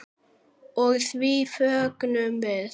Og því fögnum við.